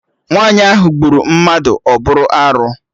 Nwaanyi ahụ gburu mmadụ, ọ bụ arụ